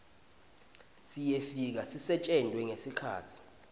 siyefika sisetjentwe ngesikhatsi